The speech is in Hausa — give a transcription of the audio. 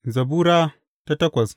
Zabura Sura takwas